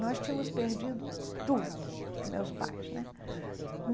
Nós tínhamos perdido tudo, meus pais né.